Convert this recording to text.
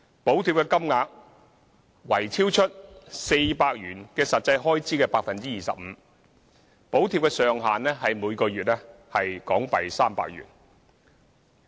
補貼金額為超出400元以外的實際開支的 25%， 補貼上限為每月300元。